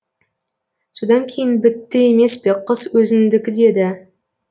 содан кейін бітті емес пе қыз өзіңдікі деді